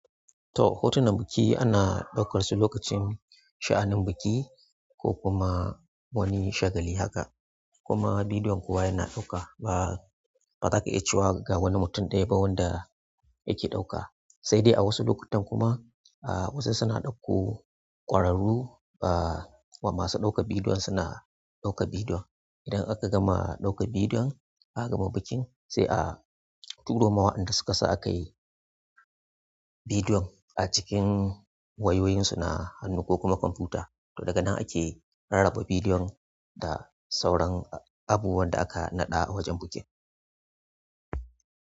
To hotunan biki ana ɗaukar su lokacin sha'anin biki ko kuma wani shagali haka. Kuma bidiyon kowa yana ɗauka ba, ba za ka iya cewa ga wani mutum ɗaya ba wanda yake ɗauka. Sai dai a wasu lokutan kuma wasu na ɗauko kwararru masu ɗaukar bidiyo suna ɗaukar bidiyo, idan aka gama ɗaukar bidiyon aka gama bikin sai a turama wa inda suka sa ayi bidiyon a cikin wayoyinsu na hannu ko kuma kwamfuta. To daga nan ake rarraba bidiyon da sauran abubuwan da aka naɗa a wajen bikin.